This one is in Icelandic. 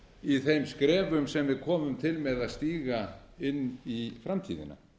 í þeim skrefum sem við komum til með að stíga inn í framtíðina